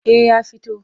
Eh ya fito.